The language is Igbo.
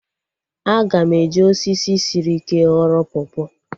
Aga m eji osisi sịrị ike ghọrọ pọpọ